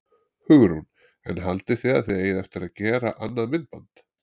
Hugrún: En haldið þið að þið eigið eftir að gera annað myndband?